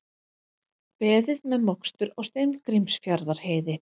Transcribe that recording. Beðið með mokstur á Steingrímsfjarðarheiði